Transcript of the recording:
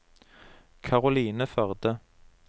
Karoline Førde